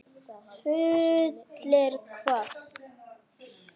Fullir hvað.!?